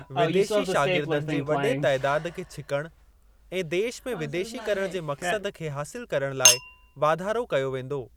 विदेशी शागिर्दनि जे वॾे तइदाद खे छिकण ऐं 'देश में विदेशीकरण' जे मक़्सद खे हासिल करण लाइ वाधारो कयो वेंदो।